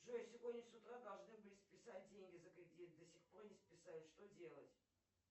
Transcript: джой сегодня с утра должны были списать деньги за кредит до сих пор не списали что делать